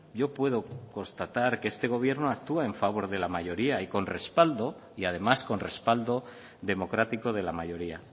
yo puedo constatar que este gobierno actúa en favor de la mayoría y con respaldo y además con respaldo democrático de la mayoría